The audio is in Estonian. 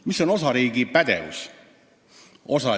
Mis on osariigi pädevus?